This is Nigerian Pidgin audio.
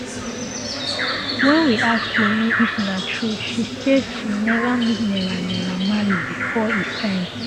wen we ask wunmi if na true she say she um neva meet naira naira marley um bifor e sign